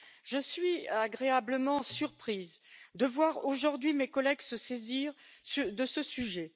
Je suis agréablement surprise de voir aujourd'hui mes collègues se saisir de ce sujet.